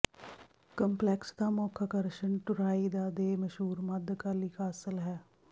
complex ਦਾ ਮੁੱਖ ਆਕਰਸ਼ਣ ਟੂਰਾਈਦਾ ਦੇ ਮਸ਼ਹੂਰ ਮੱਧਕਾਲੀ ਕਾਸਲ ਹੈ